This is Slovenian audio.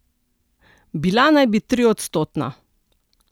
Bila naj bi triodstotna.